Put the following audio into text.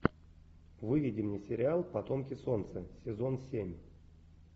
выведи мне сериал потомки солнца сезон семь